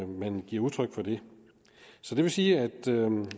man giver udtryk for det det vil sige at